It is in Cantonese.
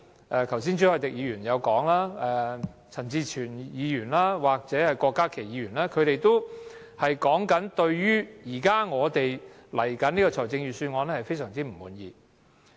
剛才朱凱廸議員、陳志全議員及郭家麒議員也表達了我們對新的預算案非常不滿。